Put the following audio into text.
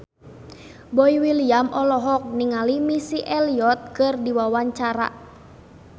Boy William olohok ningali Missy Elliott keur diwawancara